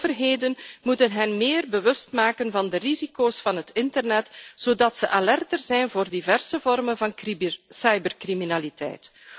Overheden moeten hen bewuster maken van de risico's van het internet, zodat ze alerter zijn voor diverse vormen van cybercriminaliteit.